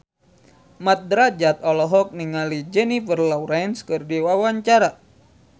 Mat Drajat olohok ningali Jennifer Lawrence keur diwawancara